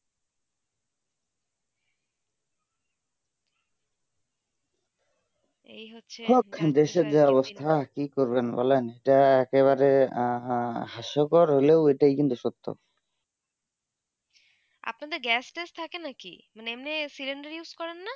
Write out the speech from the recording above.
এই হোচেয়ে দেশে যা অবস্থা কি করবেন বলেন যা এক বারেহোসকে রোল এইটা কি সত্য আপনা দরে gas টস থাকে না কি মানে এমনি cylinder use করেন না